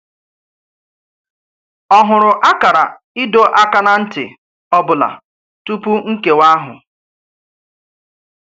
Ọ̀ hụ̀rụ̀ àkàrà ìdò àkà ná ntì ọ̀bụ̀là túpù nkéwa àhụ̀?